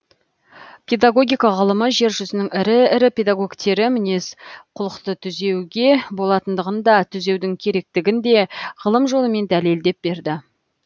педагогика ғылымы жер жүзінің ірі ірі педагогтері мінез құлықты түзеуге болатындығын да түзеудің керектігін де ғылым жолымен дәлелдеп берді